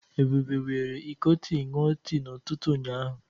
Ebube were iko tii nnúo tii na ututu ụnyaahụ.